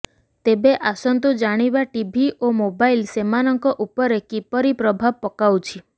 ତେବେ ଆସନ୍ତୁ ଜାଣିବା ଟିଭି ଓ ମୋବାଇଲ ସେମାନଙ୍କ ଉପରେ କିପରି ପ୍ରଭାବ ପକାଉଛି